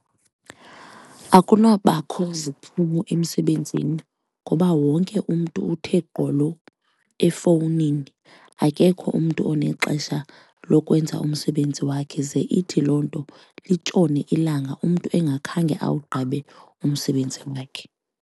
Akunobakho ziphumo emsebenzini ngoba wonke umntu uthe gqolo efowunini akekho umntu unexesha lokwenza umsebenzi wakhe, ze ithi loo nto litshone ilanga umntu engakhange awugqibe umsebenzi wakhe.